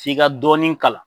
F'i ka dɔɔni kalan